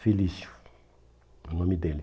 Felício, o nome dele.